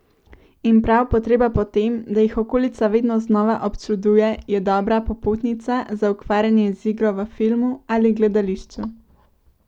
In prav potreba po tem, da jih okolica vedno znova občuduje, je dobra popotnica za ukvarjanje z igro v filmu ali gledališču.